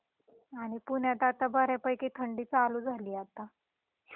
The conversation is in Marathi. आणि पुण्यात आता बऱ्यापैकी थंडी चालू झालीये आता.